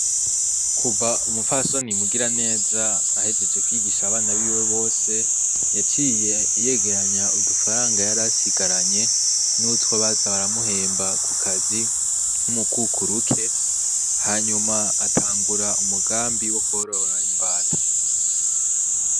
Kuva umufasoni mugira neza ahejeje kwigisha abana biwe bose yaciye yegeranya udufaranga yar asigaranye n'utwa baza baramuhemba ku kazi nk'umukukuruke hanyuma atangura umugambi wo kuorora imbata.